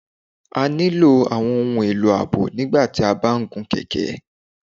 A nílo awọn ohun elo aabo nígbàtí o ba n gún kẹkẹ